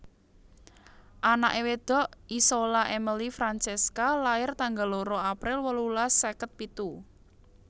Anake wedok Isola Emily Francesca lair tanggal loro April wolulas seket pitu